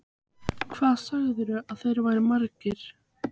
Hvað sagðirðu að þeir væru margir?